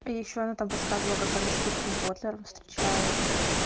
и ещё она там рассказывала как она с филиппом котляром встречалась